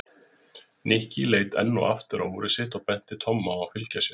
Nikki leit enn og aftur á úrið sitt og benti Tomma á að fylgja sér.